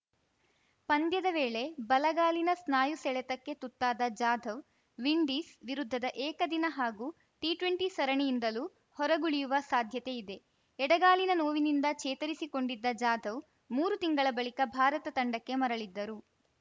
ಪಂದ್ಯದ ವೇಳೆ ಬಲಗಾಲಿನ ಸ್ನಾಯು ಸೆಳೆತಕ್ಕೆ ತುತ್ತಾದ ಜಾಧವ್‌ ವಿಂಡೀಸ್‌ ವಿರುದ್ಧದ ಏಕದಿನ ಹಾಗೂ ಟಿಟ್ವೆಂಟಿ ಸರಣಿಯಿಂದಲೂ ಹೊರಗುಳಿಯುವ ಸಾಧ್ಯತೆ ಇದೆ ಎಡಗಾಲಿನ ನೋವಿನಿಂದ ಚೇತರಿಸಿಕೊಂಡಿದ್ದ ಜಾಧವ್‌ ಮೂರು ತಿಂಗಳ ಬಳಿಕ ಭಾರತ ತಂಡಕ್ಕೆ ಮರಳಿದ್ದರು